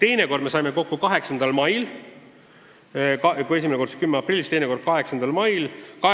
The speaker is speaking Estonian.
Teine kord saime kokku 8. mail – kui esimene arutelu oli 10. aprillil, siis teine 8. mail.